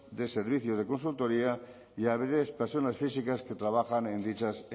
de servicios de consultoría y a personas físicas que trabajan en dichas